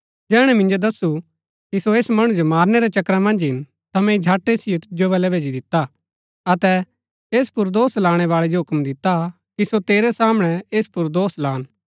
जैहणै मिन्जो दस्सु कि सो ऐस मणु जो मारनै रै चक्करा मन्ज हिन ता मैंई झट ऐसिओ तिजो बलै भैजी दिता अतै ऐस पुर दोष लाणै बाळै जो हूक्म दिता कि सो तेरै सामणै ऐस पुर दोष लान